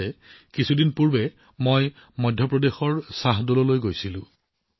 মনত আছে আগতে এদিন মই মধ্যপ্ৰদেশৰ শ্বাহদললৈ গৈছিলো